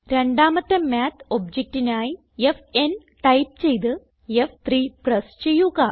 രണ്ടാമത്തെ മാത്ത് objectനായി f n type ചെയ്ത് ഫ്3 പ്രസ് ചെയ്യുക